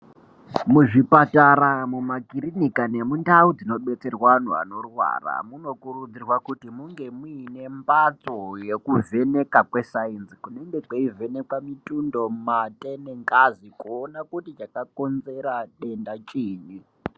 Muzvipatara, mumakirinika nemundau dzinobetserwa anhu anorwara munokurudzirwa kuti munge muine mbatso yekuvheka kwe sainzi munenge kweivhenekwa mitundo, mate nengazi kuone kuti chakakonzera denda chiinyi.